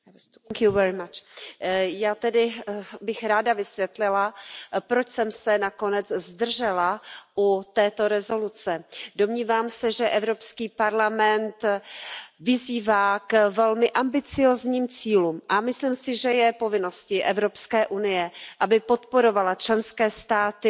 Paní předsedající, já bych ráda vysvětlila, proč jsem se nakonec zdržela u této rezoluce. Domnívám se, že Evropský parlament vyzývá k velmi ambiciózním cílům, a myslím si, že je povinností Evropské unie, aby podporovala členské státy